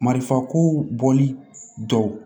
Marifako bɔli dɔw